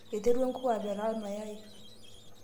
iterua enkuku apetaa ilmayayi